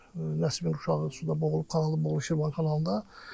Bəs Nəsibin uşağı suda boğulub, kanalda boğulub Şirvan kanalında.